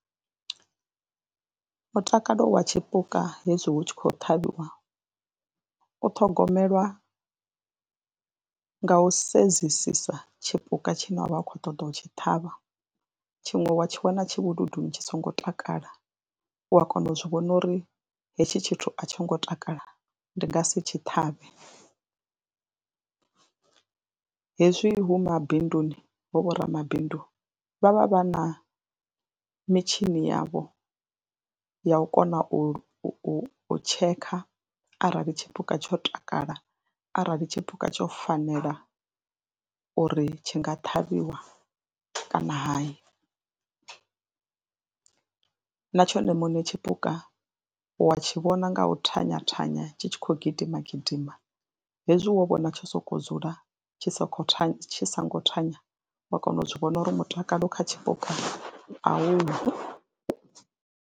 Mutakalo wa tshipuka hezwi hu tshi khou ṱhavhiwa u thogomelwa nga u sedzesisa tshipuka tshine wa vha u khou ṱoḓa u tshi ṱhavha, tshiṅwe wa tshi wana tshivhuluduni tshi songo takala wa kona u zwi vhona uri hetshi tshithu a tsho ngo takala ndi nga si tshi ṱhavhele. Hezwi hu mabinduni hu vhoramabindu vha vha vha na mitshini yavho ya u kona u u tshekha arali tshipuka tsho takala arali tshipuka tsho fanela uri tshi nga ṱhavhiwa kana hayi na tshone muṋe tshipuka wa tshi vhona nga u thanya thanya tshi tshi khou gidima gidima hezwi wo vhona tsho sokou dzula tshi soko thanya tshi songo thanya wa kona u zwi vhona uri mutakalo kha tshipuka a uho.